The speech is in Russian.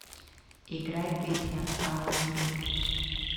играй песня а у реки